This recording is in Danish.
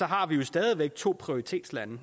har vi jo stadig væk to prioritetslande